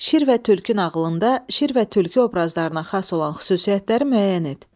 Şir və tülkü nağılında şir və tülkü obrazlarına xas olan xüsusiyyətləri müəyyən et.